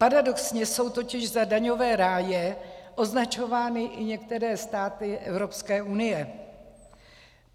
Paradoxně jsou totiž za daňové ráje označovány i některé státy Evropské unie.